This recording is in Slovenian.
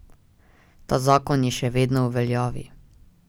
Ta zakon je še vedno v veljavi.